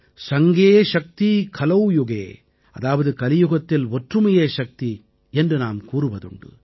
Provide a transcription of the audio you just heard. சங்கே சக்தி கலௌ யுகே அதாவது கலியுகத்தில் ஒற்றுமையே சக்தி என்று நாம் கூறுவதுண்டு